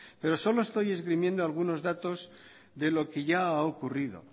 pero solo estoy esgrimiendo algunos datos de lo que ya ha ocurrido